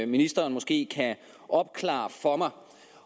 ministeren måske kan opklare for mig